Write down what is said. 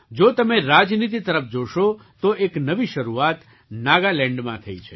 જો તમે રાજનીતિ તરફ જોશો તો એક નવી શરૂઆત નાગાલેન્ડમાં થઈ છે